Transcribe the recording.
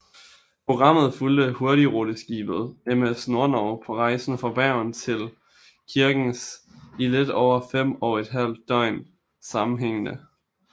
Programmet fulgte hurtigruteskibet MS Nordnorge på rejsen fra Bergen til Kirkenes i lidt over fem og et halvt døgn sammenhængende